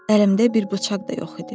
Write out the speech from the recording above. Əlimdə bir bıçaq da yox idi.